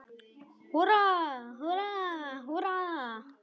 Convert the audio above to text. Húrra, húrra, húrra!